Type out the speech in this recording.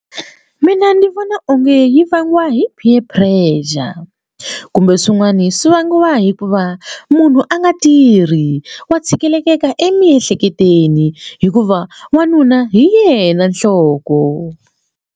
Mina ndzi vona onge yi vangiwa hi peer pressure kumbe swin'wani swi vangiwa hikuva munhu a nga tirhi wa tshikeleleka emiehleketweni hikuva n'wanuna hi yena nhloko.